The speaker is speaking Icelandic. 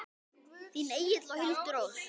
Þín Egill og Hildur Ósk.